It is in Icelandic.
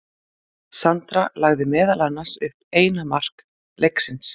Sandra lagði meðal annars upp eina mark leiksins.